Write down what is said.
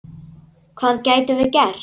Hvað gætum við gert?